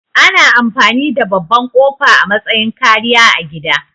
Ana amfani da babban ƙofa a matsayin kariya a gida